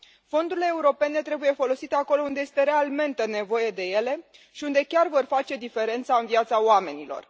Fondurile europene trebuie folosite acolo unde este realmente nevoie de ele și unde chiar vor face diferența în viața oamenilor.